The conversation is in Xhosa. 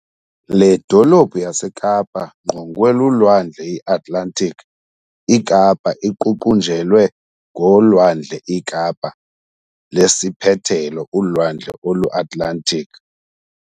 Le dolophu yaseKapa ngqongwe lulwandle I-Atlantic ikapa iququnjelwe ngolwandleiKapa lesiiphethelo ulwandle oluAtlantic.